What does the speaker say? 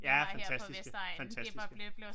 Ja fantastiske fantastiske